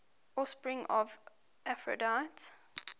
offspring of aphrodite